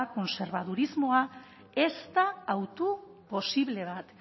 kontserbadurismoa ez da hautu posible bat